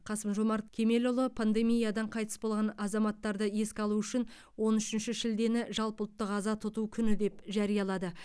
қасым жомарт кемелұлы пандемиядан қайтыс болған азаматтарды еске алу үшін он үшінші шілдені жалпыұлттық аза тұту күні деп жариялады